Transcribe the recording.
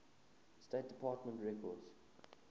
state department records